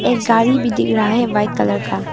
एक गाड़ी भी दिख रहा है वाइट कलर का।